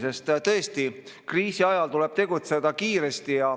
Sest tõesti, kriisi ajal tuleb tegutseda kiiresti.